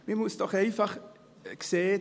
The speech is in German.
Man muss doch einfach sehen: